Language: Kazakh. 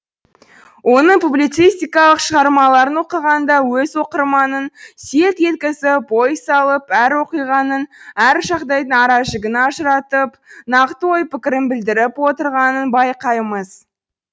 оның публицистикалық шығармаларын оқығанда өз оқырманын селт еткізіп ой салып әр оқиғаның әр жағдайдың аражігін ажыратып нақты ой пікірін білдіріп отырғанын байқаймыз